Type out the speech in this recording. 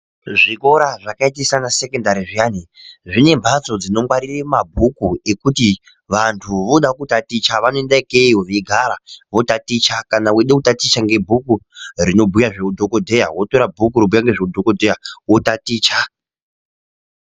Zvikora zvakaita seanasekendari zviyani, zvine mphatso dzinongwarire mabhuku ekuti vantu vooda kutaticha, vanoenda ikeyo, veigara votaticha. Kana eeida kutaticha ngebhuku rinobhuya zveudhokodheya wotora bhuku rinobhuya zvoudhokodheya wotaticha.